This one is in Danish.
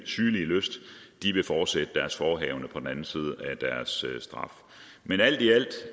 sygelige lyst vil fortsætte deres forehavende på den anden side af deres straf men alt i alt